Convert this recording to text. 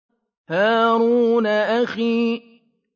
هَارُونَ أَخِي